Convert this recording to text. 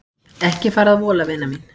Ekki fara að vola vina mín.